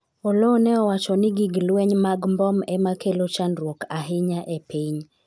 Oloo ne owacho ni gig lweny mag mbom ema kelo chandruok ahinya e piny